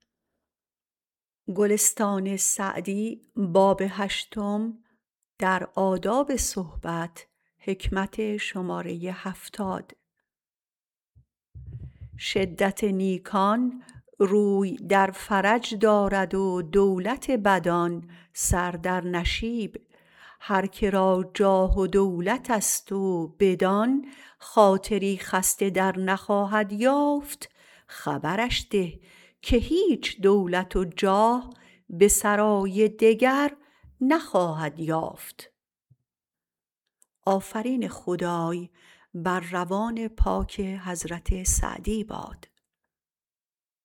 شدت نیکان روی در فرج دارد و دولت بدان سر در نشیب هر که را جاه و دولت است و بدان خاطری خسته در نخواهد یافت خبرش ده که هیچ دولت و جاه به سرای دگر نخواهد یافت